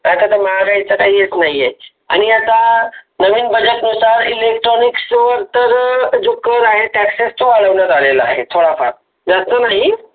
आता तर मागाईचा टाई येत नाहीये आहे. आणि आता नवीन budget नुसार Electronics वर तर जो कर आहे Taxes आलेला आहे थोडा फार ज्यास्त नाही.